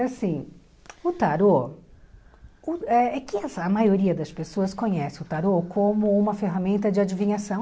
É assim, o tarô, uh é que a maioria das pessoas conhece o tarô como uma ferramenta de adivinhação.